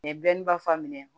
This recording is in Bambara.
U ye dɔnniba minɛ